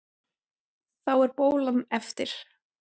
Þá er bólan eftir.